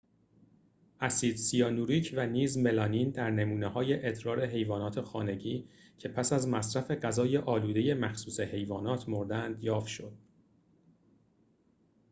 اسید سیانوریک و نیز ملامین در نمونه‌های ادرار حیوانات خانگی که پس از مصرف غذای آلوده مخصوص حیوانات مردند یافت شد